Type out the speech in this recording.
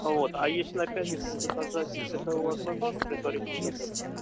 вот а если на пятницу заказать это у вас возможно предварительный заказ